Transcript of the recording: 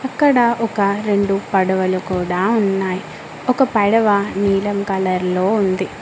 ఇక్కడ ఒక రెండు పడవలు కూడా ఉన్నాయి ఒక పడవ నీలం కలర్ లో ఉంది.